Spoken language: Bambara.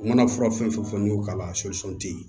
U mana fura fɛn fɛn fɔ n'i y'o k'a la te ye